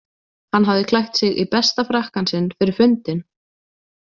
Hann hafði klætt sig í besta frakkann sinn fyrir fundinn.